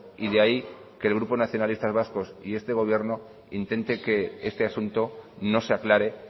y de ahí que el grupo nacionalistas vascos y este gobierno intenten que este asunto no se aclare